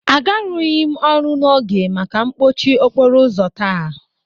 Agarughi m ọrụ n'oge maka mpọchị okporo ụzọ taa